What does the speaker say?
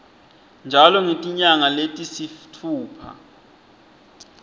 njalo ngetinyanga letisitfupha